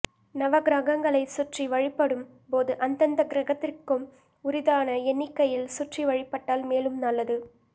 நவகிரகங்களைப் சுற்றி வழிபடும் போது அந்தந்த கிரகத்திற்கும் உரித்தான எண்ணிக்கையில் சுற்றி வழிபட்டால் மேலும் நல்லது